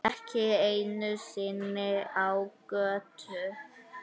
Ekki einu sinni á götu.